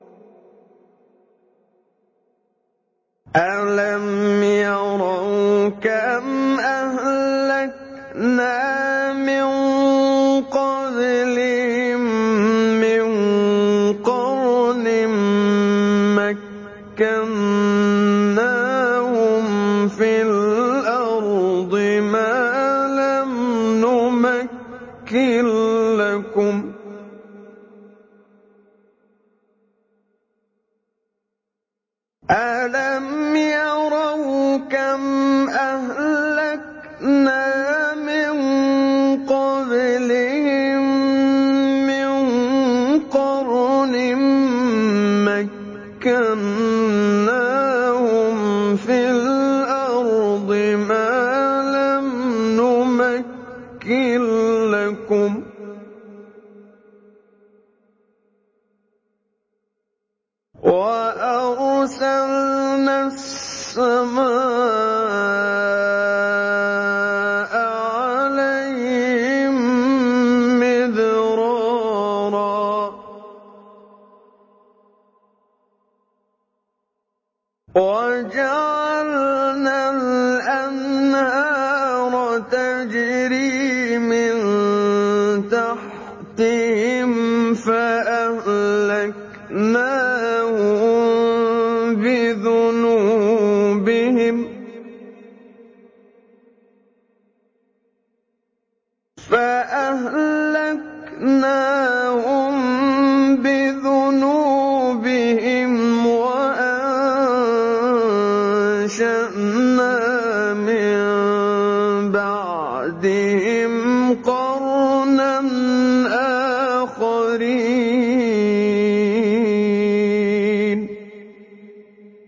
أَلَمْ يَرَوْا كَمْ أَهْلَكْنَا مِن قَبْلِهِم مِّن قَرْنٍ مَّكَّنَّاهُمْ فِي الْأَرْضِ مَا لَمْ نُمَكِّن لَّكُمْ وَأَرْسَلْنَا السَّمَاءَ عَلَيْهِم مِّدْرَارًا وَجَعَلْنَا الْأَنْهَارَ تَجْرِي مِن تَحْتِهِمْ فَأَهْلَكْنَاهُم بِذُنُوبِهِمْ وَأَنشَأْنَا مِن بَعْدِهِمْ قَرْنًا آخَرِينَ